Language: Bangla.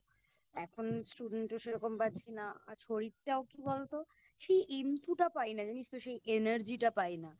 এখন Student ও সেরকম পাচ্ছি না আর শরীরটাও কি বলতো সেই Enthu টা পাই না জানিস তো সেই Energy টা পাই না